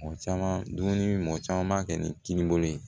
Mɔgɔ caman dumuni mɔgɔ caman b'a kɛ ni kininbolo ye